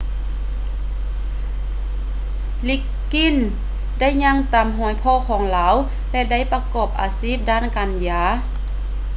liggins ໄດ້ຍ່າງຕາມຮອຍພໍ່ຂອງລາວ ແລະ ໄດ້ປະກອບອາຊີບດ້ານການຢາ